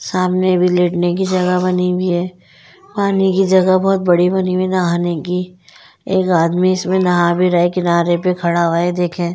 सामने भी लेटने की जगह बनी हुई है पानी की जगह बहुत बड़ी बनी हुई है नहाने की एक आदमी इसमें नहा भी रहा है किनारे पे खड़ा हुआ है ये देखिए--